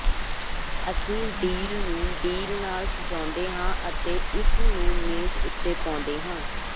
ਅਸੀਂ ਡੀਲ ਨੂੰ ਡੀਲ ਨਾਲ ਸਜਾਉਂਦੇ ਹਾਂ ਅਤੇ ਇਸ ਨੂੰ ਮੇਜ਼ ਉੱਤੇ ਪਾਉਂਦੇ ਹਾਂ